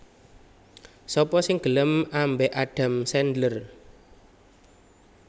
Sapa sing gelem ambek Adam Sandler?